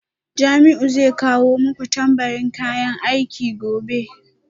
Jamiu zai kawo muku tambarin kayan aiki gobe